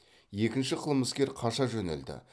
екінші қылмыскер қаша жөнелді